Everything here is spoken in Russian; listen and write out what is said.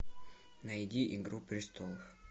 найди игру престолов